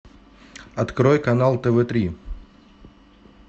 открой канал тв три